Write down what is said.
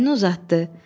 Əlini uzatdı.